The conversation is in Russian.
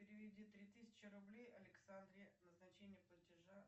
переведи три тысячи рублей александре назначение платежа